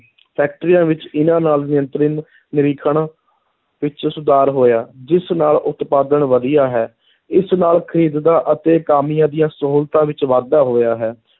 ਫੈਕਟਰੀਆਂ ਵਿੱਚ ਇਨ੍ਹਾਂ ਨਾਲ ਨਿਯੰਤਰਨ, ਨਿਰੀਖਣ ਵਿੱਚ ਸੁਧਾਰ ਹੋਇਆ, ਜਿਸ ਨਾਲ ਉਤਪਾਦਨ ਵਧੀਆ ਹੈ, ਇਸ ਨਾਲ ਖ਼ਰੀਦ ਦਾ ਅਤੇ ਕਾਮਿਆਂ ਦੀਆਂ ਸਹੂਲਤਾਂ ਵਿੱਚ ਵਾਧਾ ਹੋਇਆ ਹੈ।